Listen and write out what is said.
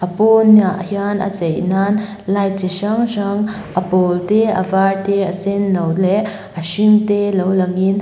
pawniah hian a chei nan light chi hrang hrang a pawl te a var te a senno leh a hring te lo langin--